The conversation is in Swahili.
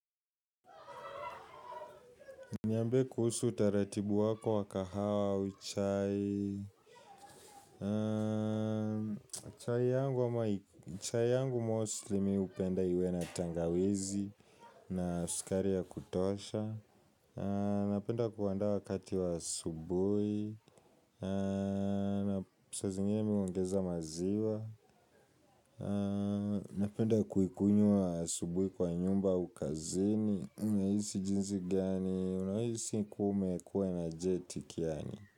Niambie kuhusu utaratibu wako wa kahawa au chai chai yangu mostly mimi hupenda iwe na tangawizi na sukari ya kutosha Napenda kuanda wakati wa asubuhi na sa zingine mimi huongeza maziwa Napenda kuikunywa asubuhi kwa nyumba au kazini nahisi jinsi gani Unahisi kume kuwa na jeti ganii?